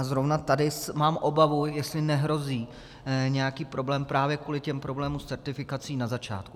A zrovna tady mám obavu, jestli nehrozí nějaký problém právě kvůli těm problémům s certifikací na začátku.